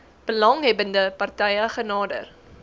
belanghebbende partye genader